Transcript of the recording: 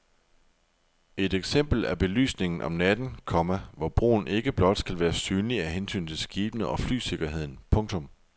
Et eksempel er belysningen om natten, komma hvor broen ikke blot skal være synlig af hensyn til skibene og flysikkerheden. punktum